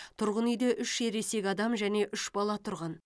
тұрғын үйде үш ересек адам және үш бала тұрған